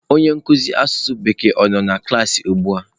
Onye nkuzi asụsụ bekee ọ nọ na klaasị ugbua?